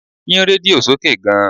Yín rédíò sókè gan!